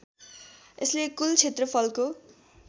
यसले कुल क्षेत्रफलको